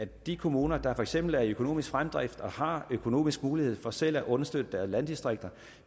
de kommuner der for eksempel er i økonomisk fremdrift og har økonomisk mulighed for selv at understøtte deres landdistrikter